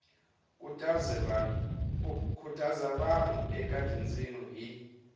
khutaza vanhu eka tindzimi hi